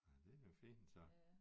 Ja det er jo fint så